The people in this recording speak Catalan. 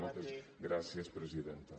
moltes gràcies presidenta